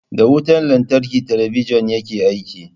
Da wutan lantarki talabijin yake aiki.